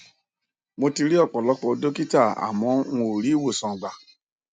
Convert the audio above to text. mo ti ri ọpọlọpọ dọkítà àmọ n ò rí ìwòsàn gbà